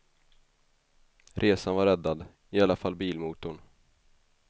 Resan var räddad, i alla fall bilmotorn.